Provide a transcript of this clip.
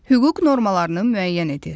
Hüquq normalarını müəyyən edir.